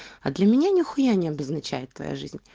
а для меня нихуя не обозначает твоя жизнь